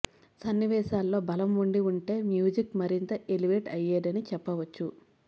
సన్నివేశాల్లో బలం ఉండి ఉంటే మ్యూజిక్ మరింత ఎలివేట్ అయ్యేదని చెప్పవచ్చు